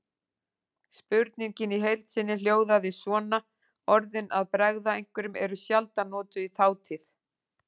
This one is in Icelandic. Spurningin í heild sinni hljóðaði svona: Orðin að bregða einhverjum eru sjaldan notuð í þátíð.